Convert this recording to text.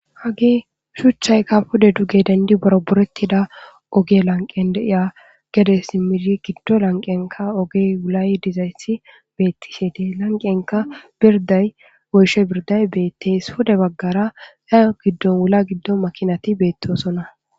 Hage shuchayka pude duge dendi boraboretida ogiya lanqen de'iya gede simidi gido lanqiyanka oge wulay dizaysi betishe de'es lanqiyanka birday woyshe birday betes pude bagara hayo gidon wula gidon makinati betosona.